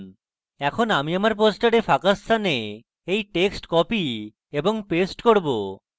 এখন আমি আমার poster ফাঁকা স্থানে এই text copy এবং paste করব